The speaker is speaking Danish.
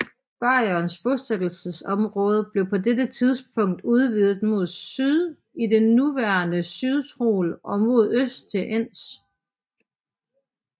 Bayernes bosættelsesområde blev på dette tidspunkt udvidet mod syd i det nuværende Sydtyrol og mod øst til Enns